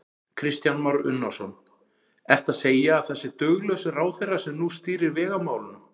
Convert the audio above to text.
Kristján Már Unnarsson: Ertu að segja að það sé duglaus ráðherra sem nú stýrir vegamálunum?